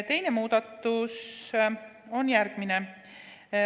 Teine muudatus on järgmine.